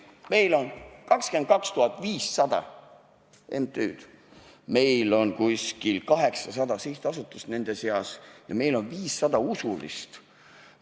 Meil on 22 500 MTÜ-d, meil on umbes 800 sihtasutust ja meil on 500 usulist MTÜ-d.